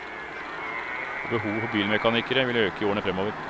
Og behovet for bilmekanikere vil øke i årene fremover.